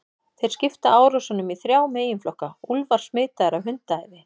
Þeir skipta árásunum í þrjá meginflokka: Úlfar smitaðir af hundaæði.